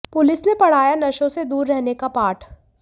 police ने पढ़ाया नशों से दूर रहने का पाठ